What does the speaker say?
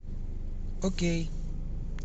окей